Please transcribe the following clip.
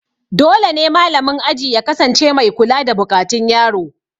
Dole ne malamin aji ya kasance mai kula da buƙatun yaro.